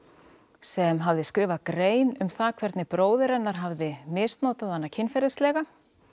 sem hafði skrifað grein um það hvernig bróðir hennar hafði misnotað hana kynferðislega